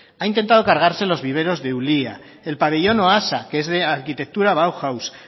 ha intentado cargase los viveros de ulía el pabellón oasa que es de arquitectura bauhaus